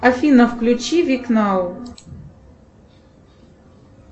афина включи вик нау